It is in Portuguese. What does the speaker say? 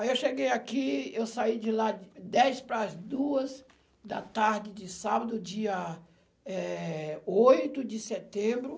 Aí eu cheguei aqui, eu saí de lá dez para as duas da tarde de sábado, dia, eh, oito de setembro.